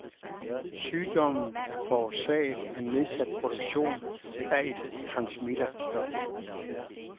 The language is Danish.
Sygdommen er forårsaget af nedsat produktion af et transmitter stof.